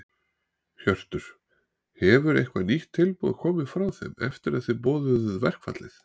Hjörtur: Hefur eitthvað nýtt tilboð komið frá þeim eftir að þið boðuðu verkfallið?